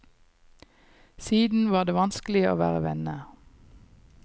Siden var det vanskelig å være venner.